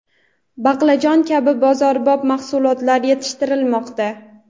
baqlajon kabi bozorbop mahsulotlar yetishtirilmoqda.